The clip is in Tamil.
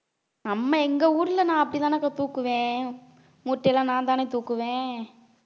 நம்ம எங்க ஊர்ல நான் அப்படிதானக்கா தூக்குவேன் மூட்டை எல்லாம் நான்தானே தூக்குவேன்